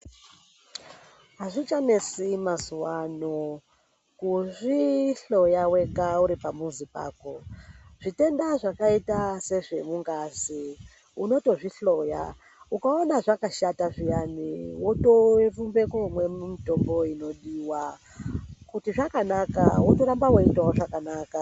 Azvichanesi mazuwaano kuzvihloya wega uri pamuzi pako. Zvitenda zvakaita sezvemungazi unotozvihloya ukaona zvakashata zviyani wotorumbe komwe mutumbo inodiwa kuti zvakanaka wotoramba weitawo zvakanaka.